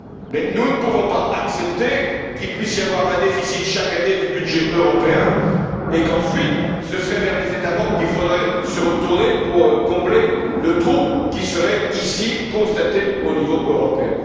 Mais nous ne pouvons pas accepter qu'il puisse y avoir chaque année un déficit du budget européen et qu'ensuite, ce soit vers les États membres qu'il faille se retourner pour combler le trou qui serait ici constaté au niveau européen.